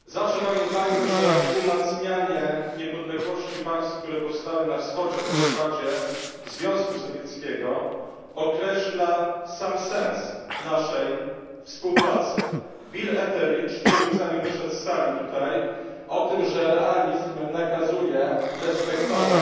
Pani Przewodnicząca! Zawsze pamiętajmy, że umacnianie niepodległości państw, które powstały na Wschodzie po rozpadzie Związku Sowieckiego, określa sam sens naszej współpracy. Bill Etheridge mówił zanim wyszedł z tej sali o tym, że realizm nakazuje respektować